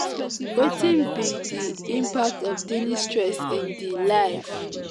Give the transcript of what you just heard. wetin be di impact of daily stress in di life?